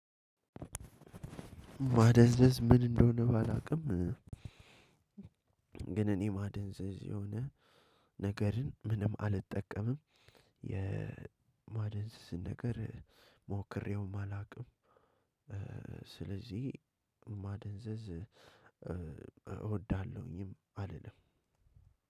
ማደንዘዝ ምን እንደሆነ ባላውቅም ግን እኔ ማደንዘዝ የሆነ ነገርን ምንም አልጠቀምም የማደንዘዝ ነገር ሞክሬውም አላውቅም። ስለዚህ ማደንዘዝ እወዳለሁኝም አልልም።